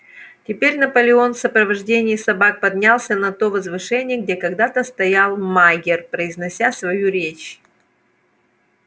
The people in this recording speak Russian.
теперь наполеон в сопровождении собак поднялся на то возвышение где когда-то стоял майер произнося свою речь